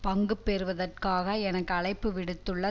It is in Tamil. பங்கு பெறுவதற்காக எனக்கு அழைப்பு விடுத்துள்ள